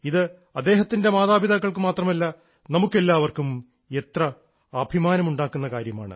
ഇത് അദ്ദേഹത്തിൻറെ മാതാപിതാക്കൾക്കു മാത്രമല്ല നമുക്കെല്ലാവർക്കും എത്ര അഭിമാനമുണ്ടാക്കുന്ന കാര്യമാണ്